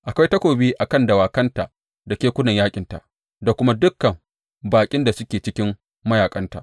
Akwai takobi a kan dawakanta da kekunan yaƙinta da kuma dukan baƙin da suke cikin mayaƙanta!